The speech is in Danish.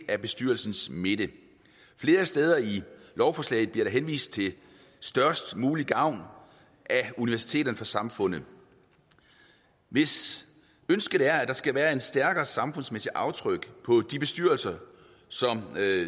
af bestyrelsens midte flere steder i lovforslaget bliver der henvist til størst mulig gavn af universiteterne for samfundet hvis ønsket er at der skal være et stærkere samfundsmæssigt aftryk på de bestyrelser som